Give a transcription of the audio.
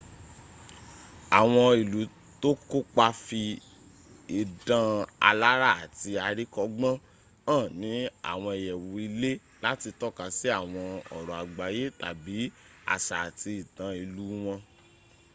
awon ilu to ko pa fi idan alara ati arikogbon han ni awon iyewu ile lati toka si awon oro agbaye tabi asa ati itan ilu won